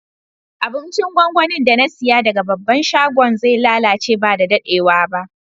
Abincin gwangwanin da na siya daga babban shagon zai lallace ba da daddewa ba.